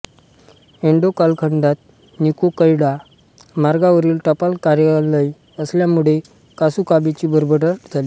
एडो कालखंडात निक्कोकैडो महामार्गावरील टपाल कार्यालय असल्यामुळे कासुकाबेची भरभराट झाली